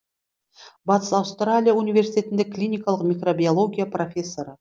батыс аустралия университетінде клиникалық микробиология профессоры